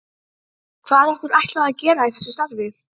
Hvað er okkur ætlað að gera í þessu starfi?